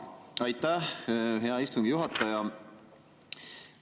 Aitäh, hea istungi juhataja!